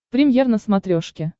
премьер на смотрешке